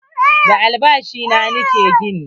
Da albashi na ni ke gini.